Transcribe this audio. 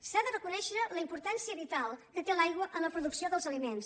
s’ha de reconèixer la importància vital que té l’aigua en la producció dels aliments